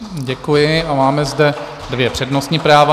Děkuji a máme zde dvě přednostní práva.